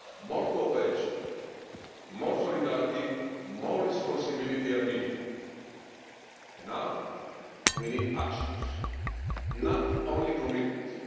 More cooperation, more solidarity, more responsibility are needed, and now we need actions not only commitments.